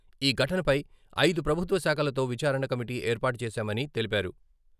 ఈ ఘటనపై ఐదు ప్రభుత్వ శాఖలతో విచారణ కమిటీ ఏర్పాటు చేశామని తెలిపారు.